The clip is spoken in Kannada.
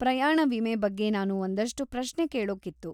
ಪ್ರಯಾಣ ವಿಮೆ ಬಗ್ಗೆ ನಾನು ಒಂದಷ್ಟು ಪ್ರಶ್ನೆ ಕೇಳೋಕಿತ್ತು.